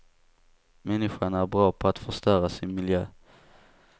Människan är bra på att förstöra sin miljö.